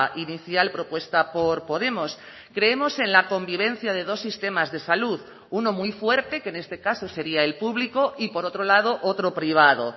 inicial propuesta por podemos creemos en la convivencia de dos sistemas de salud uno muy fuerte que en este caso sería el público y por otro lado otro privado